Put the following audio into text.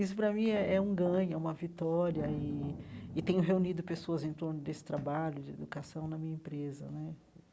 Isso para mim é é um ganho, é uma vitória, e e tenho reunido pessoas em torno desse trabalho de educação na minha empresa né.